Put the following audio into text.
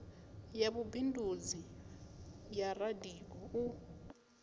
ya vhubindudzi ya radio u